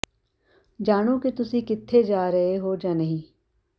ਜਾਣੋ ਕਿ ਤੁਸੀਂ ਕਿੱਥੇ ਜਾ ਰਹੇ ਹੋ ਜਾਂ ਨਹੀਂ